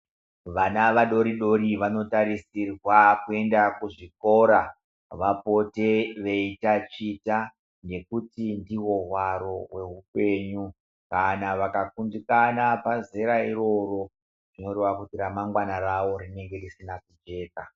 Vana vadori-dori vanotarisirwa kuenda kuzvikora, vapote veitaticha nekuti ndihwo hwaro hweupenyu. Kana vakakundikana pazera iroro, zvinoreva kuti ramangwana ravo rinenge risina kujeka.